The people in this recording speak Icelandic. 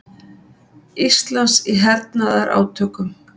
Íslands í hernaðarátökum.